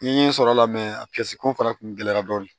N ye sɔrɔ la a ko fana kun gɛlɛyara dɔɔnin